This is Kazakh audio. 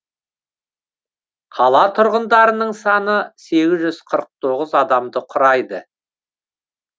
қала тұрғындарының саны сегіз жүз қырық тоғыз адамды құрайды